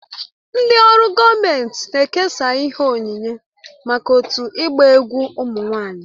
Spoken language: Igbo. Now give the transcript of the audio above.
Ndị ọrụ gọọmentị na-ekesa ihe onyinye maka otu ịgba egwu ụmụ nwanyị